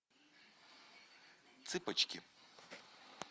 цыпочки